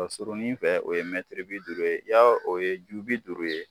Pa surunin fɛ o ye mɛtiri bi duuru ye, yari o ye ju bi duuru ye.